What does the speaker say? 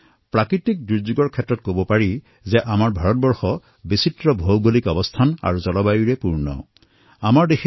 যিমান দূৰ পৰ্যন্ত বিপদৰ কথা কোৱা হয় দুৰ্যোগৰ কথা কোৱা হয় ভাৰত ভৌগোলিক আৰু জলবায়ুৰ দৃষ্টিকোণৰ পৰা বিবিধতাৰে পূৰ্ণ এখন দেশ হয়